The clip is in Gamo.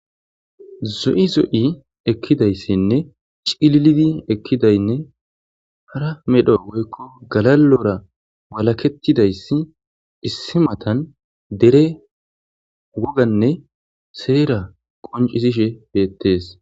Zo'i zo'i ekizaysinne c'ililidi ekidaynne hara medho woyko galalora walaketidaysi issi matan dere wogane sera qonc'isishe betes.